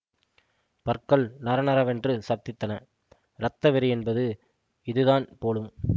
பற்கள் நறநறவென்று சப்தித்தன இரத்த வெறியென்பது இது தான் போலும்